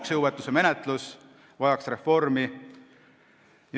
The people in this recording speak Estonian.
Ka maksejõuetuse menetlus vajaks reformi.